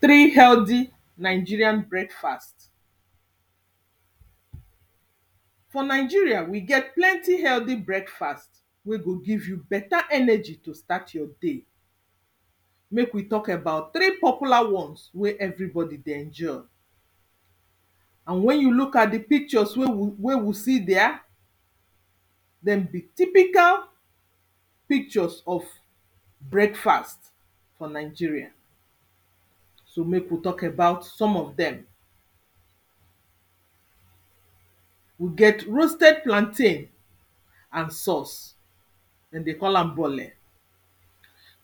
three healthy nigerian breakfast for nigeria, we get plenty healthy breakfast wey go give you beta energy to start your day. mek we talk about three popular ones wey everybodi dey enjoy and wen you look at di pctures wey you wey we see there, dem be typical pictures of breakfast for nigerai so mek we talk about some of dem we get roasted plantain and sause, dem dey call am bole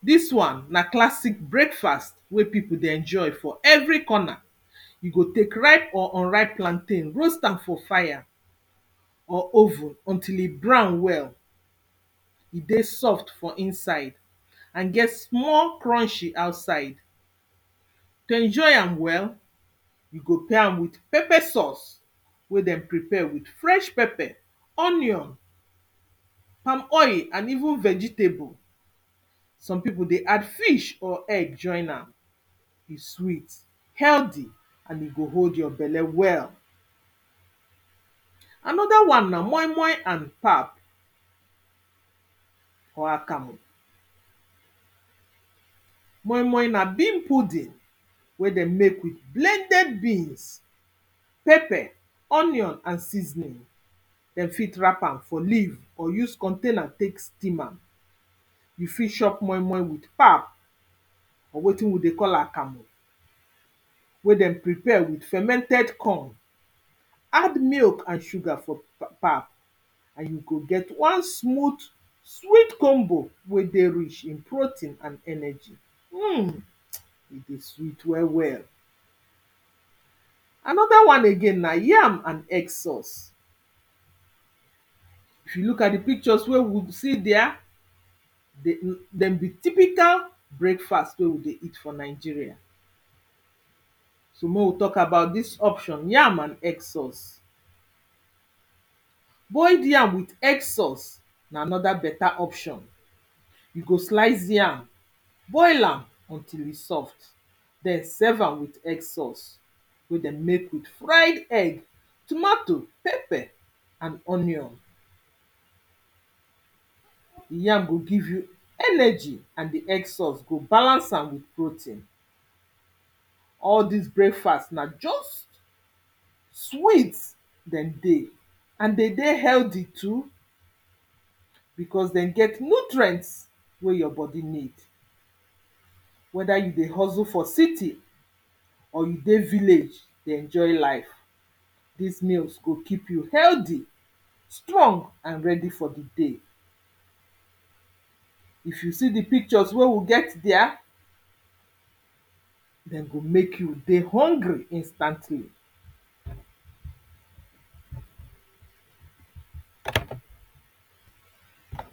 dis won na classic breakfast wey pipu dey enjoy for every corner e go tek ripe or unripe plantain roast am for fire or oven until e brown well. e dey soft for inside nd get small crunshy outside.to enjy am well, you go pray am with pepper sause wey dem prepare with fresh pepper, onion, palm oil with even vegetable. some pipu dey add fish or egg join am e sweet, healthy and e go hold your belle well anoda wan na moi-moi and pap or akamu. moi-moi na bean pudding wen den mek with blended beans, pepper, onion and seasonin. dem fit wrap am for leave or use container tek steam am you fit chop moi-moi wit pap or wetin we dey call akamu wey dem prepare with fermented corn, add milk and sugar for di pap and you go get one smooth sweet combo wey dey rish in protein and energy.hmmm e dey sweet wel well. anoda wan again na yam and egg sause. if you look at di pictures wey we see their, dem dem be typical breakfast wey we dey see for nigeria. so mey we talk about dis option yam and egg sause, boiled yam with egg sause na anoda beta option, you go slice yam boil am until e soft. den serve am wit egg sause wey dem mek with fried egg, tomatoe, pepper and onion. d yam go give you energy and di egg sauce go balance am with protein. all dis brakfast na just sweet den dey an de dey healthy too because den get nutrient wey your bodi need weda you dey hustle for city, or you dey village dey enjoy life dis meals go keep you healthy, strong and ready for di day. if you see di pictures wey we get dia, den go mek you hungry instantly